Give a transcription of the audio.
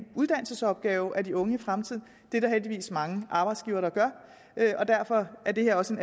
opgave at de unge i fremtiden det er der heldigvis mange arbejdsgivere der gør derfor er det her også en